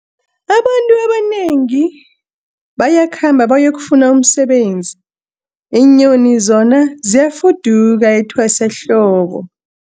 Abantu abanengi bayakhamba bayokufuna umsebenzi, iinyoni zona ziyafuduka etwasahlobo.